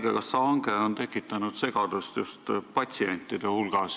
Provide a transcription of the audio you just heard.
See haigekassa hange on tekitanud segadust just patsientide hulgas.